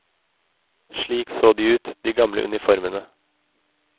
Slik så de ut, de gamle uniformene.